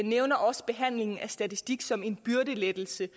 nævner også behandlingen af statistik som en byrdelettelse